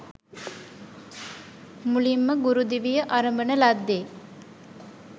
මුලින්ම ගුරු දිවිය අරඹන ලද්දේ